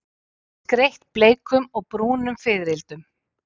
Skreytt bleikum og brúnum fiðrildum.